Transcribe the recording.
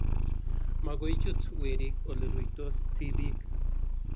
magoi chut werik ole ruitos tibiik